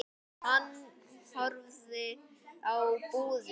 Hann horfði á búðina.